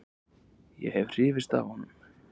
Ég hef hrifist af honum.